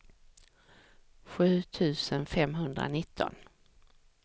sju tusen femhundranitton